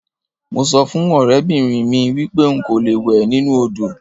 Mo so fun orebinrin mi wipe nko lo we ninu odo.